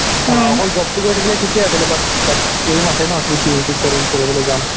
অকল job টো কই থাকিলে থিকেই আছিলে but like aim আছে ন কি PhD পঢ়িম পঢ়িবলে যাম